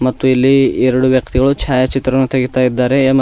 ಮತ್ತು ಇಲ್ಲಿ ಎರಡು ವ್ಯಕ್ತಿಗಳು ಛಯಾಚಿತ್ರವನ್ನು ತೆಗೆಯುತ್ತಿದ್ದಾರೆ.